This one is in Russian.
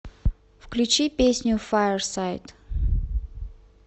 включи песню фаерсайд